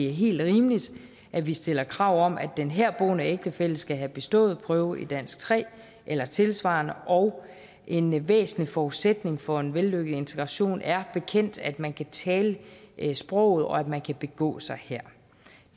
er helt rimeligt at vi stiller krav om at den herboende ægtefælle skal have bestået prøve i dansk tre eller tilsvarende og en væsentlig forudsætning for en vellykket integration er bekendt at man kan tale sproget og at man kan begå sig her